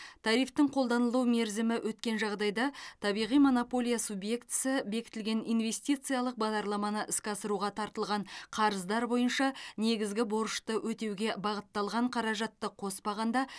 тарифтің қолданылу мерзімі өткен жағдайда табиғи монополия субъектісі бекітілген инвестициялық бағдарламаны іске асыруға тартылған қарыздар бойынша негізгі борышты өтеуге бағытталған қаражатты қоспағанда